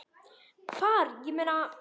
Hvar, ég meina.